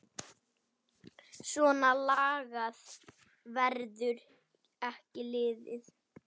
Svona lagað verður ekki liðið.